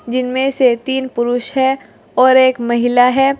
जिनमें से तीन पुरुष है और एक महिला है।